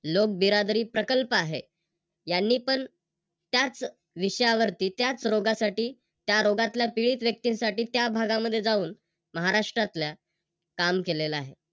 लोकबिरादरी प्रकल्प आहे. यांनी पण त्याच विषयावरती त्याच रोगासाठी त्या रोगातल्या पीडित व्यक्तींसाठी त्या भागामध्ये जाऊन महाराष्ट्रातल्या काम केलेल आहे.